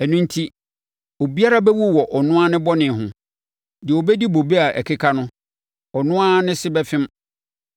Ɛno enti, obiara bɛwu wɔ ɔno ara bɔne ho; deɛ ɔbɛdi bobe a ɛkeka no, ɔno na ne se bɛfem.